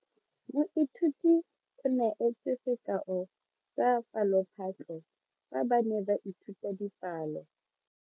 Moithuti o neetse sekao sa palophatlo fa ba ne ba ithuta dipalo.